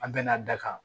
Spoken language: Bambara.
An bɛn'a da kan